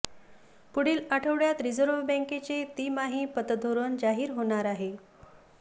पुढील आठवड्यात रिझर्व्ह बँकेचे तिमाही पतधोरण जाहीर होणार आहे